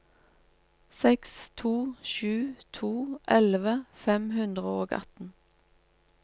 seks to sju to elleve fem hundre og atten